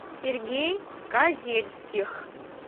сергей казельских